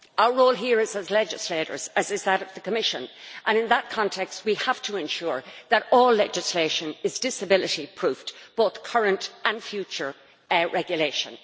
Our role here is as legislators, as is that of the Commission, and in that context we have to ensure that all legislation is disability proofed both current and future regulation.